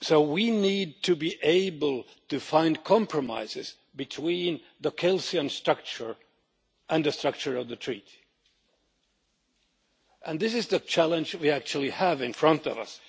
We need to be able to find compromises between the Kelsenian structure and the structure of the Treaty, and this is the challenge we actually have in front of us.